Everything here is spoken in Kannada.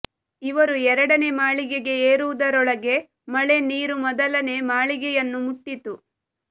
ಇವರು ಎರಡನೇ ಮಾಳಿಗೆಗೆ ಏರುವುದರೊಳಗೆ ಮಳೆ ನೀರು ಮೊದಲನೆ ಮಾಳಿಗೆಯನ್ನು ಮುಟ್ಟಿತ್ತು